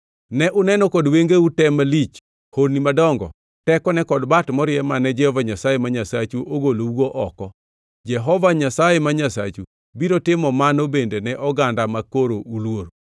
Ne uneno kod wengeu tem malich, honni madongo tekone kod bat morie mane Jehova Nyasaye ma Nyasachu ogolougo oko. Jehova Nyasaye ma Nyasachu biro timo mano bende ne oganda makoro uluoro.